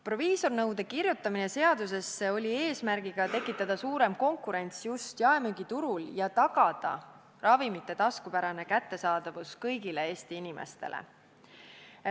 Proviisorinõue kirjutati seadusesse eesmärgiga tekitada suurem konkurents just jaemüügiturul ja tagada ravimite taskupärane kättesaadavus kõigile Eesti inimestele.